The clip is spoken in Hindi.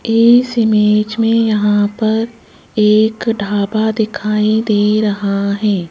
इस इमेज़ में यहां पर एक ढाबा दिखाई दे रहा है।